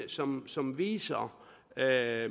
som som viser hvad